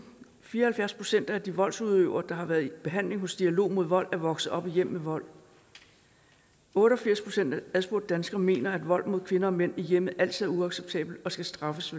fire og halvfjerds procent af de voldsudøvere der har været i behandling hos dialog mod vold er vokset op i hjem med vold otte og firs procent af adspurgte danskere mener at vold mod kvinder og mænd i hjemmet altid er uacceptabelt og skal straffes